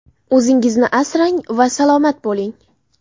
O‘zingizni asrang va salomat bo‘ling!